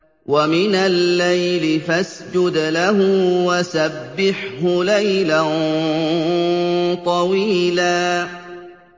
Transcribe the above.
وَمِنَ اللَّيْلِ فَاسْجُدْ لَهُ وَسَبِّحْهُ لَيْلًا طَوِيلًا